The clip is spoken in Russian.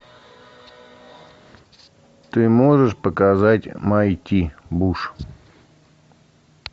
ты можешь показать майти буш